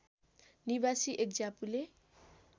निवासी एक ज्यापुले